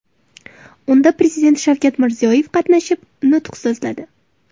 Unda Prezident Shavkat Mirziyoyev qatnashib, nutq so‘zladi.